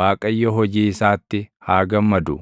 Waaqayyo hojii isaatti haa gammadu;